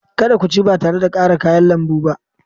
Kada ku ci ba tare da ƙara kayan lambu ba!